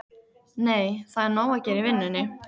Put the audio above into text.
Nei, það er nóg að gera í vinnunni.